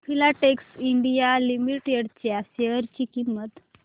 Filatex India Limited च्या share ची किंमत